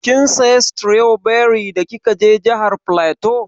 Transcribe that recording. Kin saya stroberi da kika je jihar flatu?